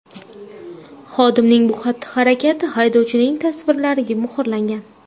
Xodimning bu xatti-harakati haydovchining tasvirlariga muhrlangan.